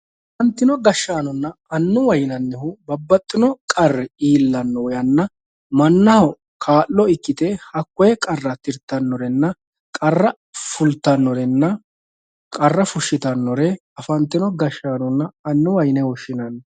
Afantino gashanonna anuwa yinanihu babaxino qari iillano yana manaho kaalo ikkite hakoye qara tiritanorenna qara fulitanorena qara fushitanore afantino gashannonna anuwa yine woshinanni